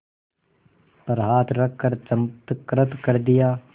पर हाथ रख चमत्कृत कर दिया